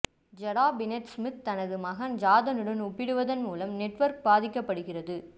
ஜடா Pinkett Smith தனது மகன் ஜாதனுடன் ஒப்பிடுவதன் மூலம் நெட்வொர்க் பாதிக்கப்படுகிறது